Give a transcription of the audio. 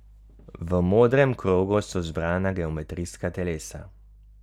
V modrem krogu so zbrana geometrijska telesa.